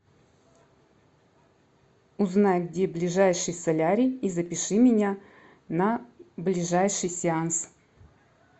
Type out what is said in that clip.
узнай где ближайший солярий и запиши меня на ближайший сеанс